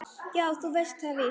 Jú, þú veist það víst.